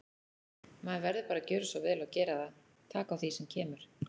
Maður verður bara að gjöra svo vel og gera það, taka á því sem kemur.